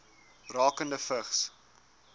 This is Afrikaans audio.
rakende vigs